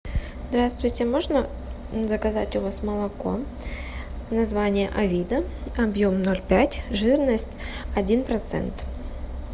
здравствуйте можно заказать у вас молоко название авида объем ноль пять жирность один процент